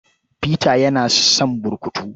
Peter yana son burkutu.